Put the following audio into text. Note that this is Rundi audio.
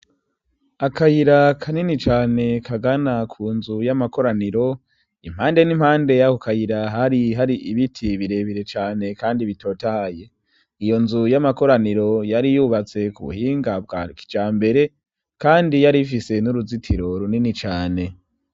Akayira kanini cane kagana ku nzu y'amakoraniro. Impande n'impande y'ako kayira, har' ibiti birebire cane kandi bitotahaye. Iyo nzu y'amakoraniro yari yubatse k'ubuhinga bwa kijambere, kandi yari ifise n'uruzitiro runini cane.